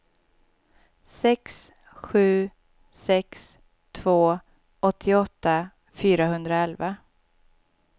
sex sju sex två åttioåtta fyrahundraelva